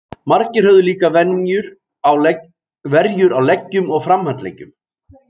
Margir höfðu líka verjur á leggjum og framhandleggjum.